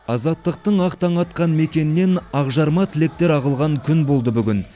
азаттықтың ақ таңы атқан мекеннен ақжарма тілектер ағылған күн болды бүгін